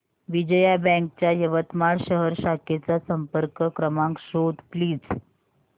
Vijaya bank च्या यवतमाळ शहर शाखेचा संपर्क क्रमांक शोध प्लीज